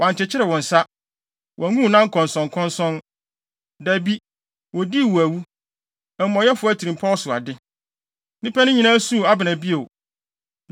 Wɔankyekyere wo nsa; wɔangu wo nan nkɔnsɔnkɔnsɔn. Dabi, wodii wo awu; amumɔyɛfo atirimpɔw so ade.” Nnipa no nyinaa suu Abner bio.